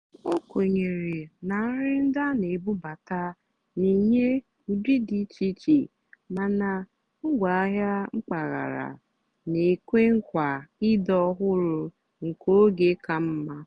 ó kwènyèrè nà nrì ndí á nà-èbúbátá nà-ènyé ụ́dị́ dì íché íché màná ngwáàhịá mpàgàrà nà-ékwe nkwaà ị́dì́ ọ́hụ́rụ́ nkè ógè kà mmá.